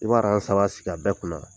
I b' aaran saba sig' a bɛɛ kunna